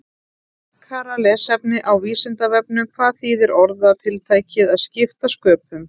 Frekara lesefni á Vísindavefnum: Hvað þýðir orðatiltækið að skipta sköpum?